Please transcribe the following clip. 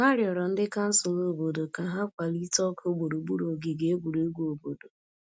Ha rịọrọ ndị kansụl obodo ka ha kwalite ọkụ gburugburu ogige egwuregwu obodo.